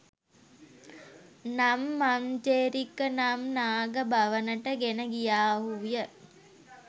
නම් මංජේරික නම් නාග භවනට ගෙන ගියාහු ය